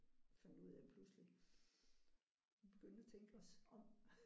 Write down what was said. Fandt ud af pludselig. Vi begyndte at tænke os om